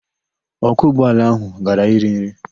Ọkwọ ụgbọala ahụ gara iri nri.